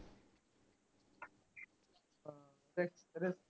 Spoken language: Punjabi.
ਤੇ